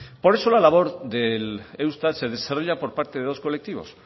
por eso la labor del eustat se desarrolla por parte de dos colectivos